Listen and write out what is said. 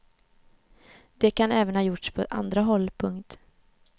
Det kan även ha gjorts på andra håll. punkt